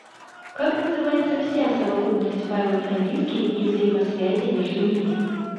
как называется вся совокупность файлов на диске и взаимосвязей между ними